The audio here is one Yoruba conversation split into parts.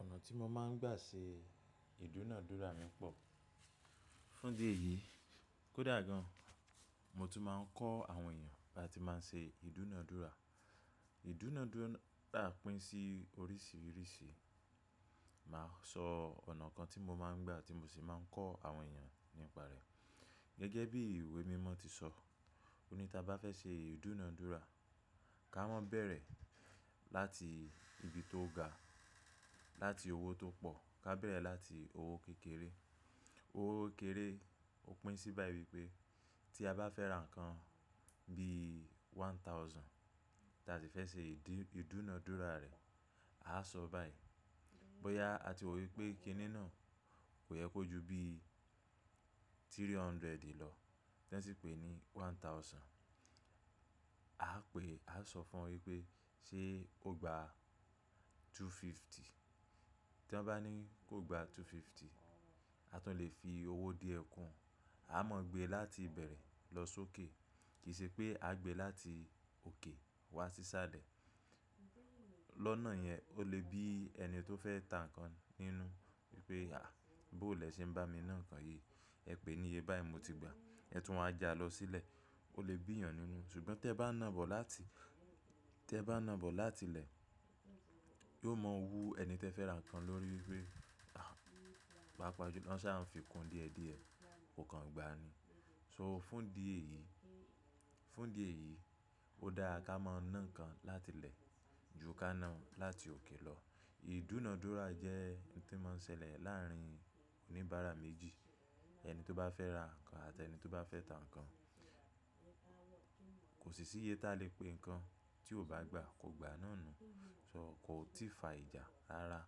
Ọ̀nà tí mo máa ń gbà ṣe ìdúnadúrà mí pọ̀. Fún di èyí kódà gan, mo tún máa ń kọ́ àwọn èèyàn bí a ti máa ṣe ìdúnadúrà. Ìdúnadúrà pín sí oríṣiríṣi. Màá sọ ọ̀nà kan tí mo máa ń gbà tí mo sì máa ń kọ́ àwọn èèyàn nípa rẹ̀. Gẹ́gẹ́ bí ìwé mímọ́ ti sọ, ẹni tá bá fẹ́ ṣe ìdúnadúrà, ká mọ́ bẹ̀rẹ̀ láti ibi tó ga, láti owó tó pọ̀, ká bẹ̀rẹ̀ láti owó kékeré. Owó kéré ó pín sí bá yi pé tí a bá fẹ́ ra nǹkan bí one thousand tá tí fẹ́ ṣe ìdúnadúrà rẹ̀, a á sọ báyìí. Bóyá a ti wò pé kiní na kò yẹ kó ju bí three hundred lọ tí wọ́n sì pè é ní one thousand. A á pe, a á sọ fún ọ wí pé ṣé o gba two fifty? Tí wọ́n bá ní kó gba two fifty, a tún lè fi owó díẹ̀ kún. A máa gbe láti ìbẹ̀rẹ̀ lọ sókè kìí ṣe pé a gbe láti òkè wá sí ṣálẹ̀. Lọ́nà yẹn o lè bí ẹni tó fẹ́ ta nǹkan nínú wí pé, à bóòlẹ̀ ṣe ń bá mi ná nǹkan yìí, ẹ pè é níye báyìí mo ti gba. Ẹ tún wáa n ja lọ sílẹ̀. Ó lè bí èèyàn nínú. Ṣùgbọ́n tí ẹ bá nà bọ̀ láti, tí ẹ bá nà bọ̀ láti ilẹ̀, yóò mọ́ wu ẹni tí ẹ fẹ́ ra nǹkan lórí wí pé, à, bá pàṣẹ, lọ́́n ṣa, ń fi kun díẹ̀díẹ̀, o kàn gba ni. So fún di èyí, fún di èyí, ó dáa ká máa nà nǹkan láti ilẹ̀ ju ká nà á láti òkè lọ. Ìdúnadúrà jẹ́ ohun tí ó máa ń ṣẹlẹ̀ láàárín oníbàárà méjì. Ẹni tó bá fẹ́ ra nǹkan àti ẹni tó bá fẹ́ ta nǹkan. Kò sì síye tá lè pé nǹkan tí o bá gba kò gba náà nu. So kò tí ì fa ìjà rara.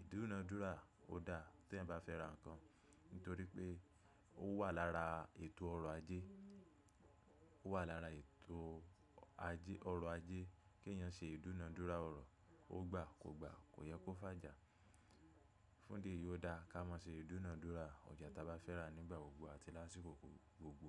Ìdúnadúrà ó dáa tí ẹ̀ bá fẹ́ ra nǹkan nítorí pé ó wà lára ètò ọrọ̀ ajé. Ó wà lára ètò ajé, ọrọ̀ ajé kí èèyàn ṣe ìdúnadúrà ọ̀rọ̀. Ó gba, kò gba, kò yẹ kó fájà. Fún di èyí ó dáa ká máa ṣe ìdúnadúrà ọjà tá bá fẹ́ rà nígbà gbogbo àti lásìkò gbogbo.